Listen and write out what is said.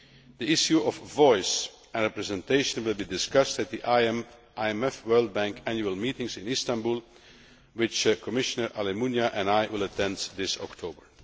The issue of voice and representation will be discussed at the IMF World Bank annual meetings in Istanbul, which Commissioner Almunia and I will attend this October.